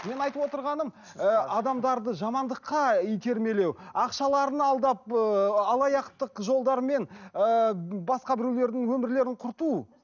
мен айтып отырғаным ы адамдарды жамандыққа итермелеу ақшаларын алдап ыыы алаяқтық жолдармен ыыы басқа біреулердің өмірлерін құрту